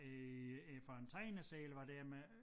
Øh øh fra en tegneserie eller hvad det er men